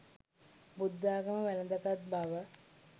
බුද්ධාගම වැළඳ ගත් බව